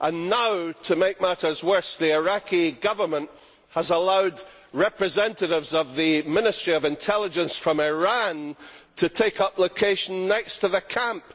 Now, to make matters worse, the Iraqi government has allowed representatives of the Ministry of Intelligence from Iran to take up location next to the camp.